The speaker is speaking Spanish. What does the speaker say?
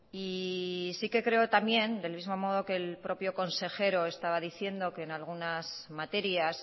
y sí que creo también del mismo modo que el propio consejero estaba diciendo que en algunas materias